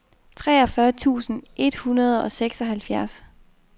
treogfyrre tusind et hundrede og seksoghalvfjerds